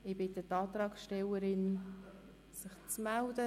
Ich bitte die Antragstellerinnen, sich zu melden.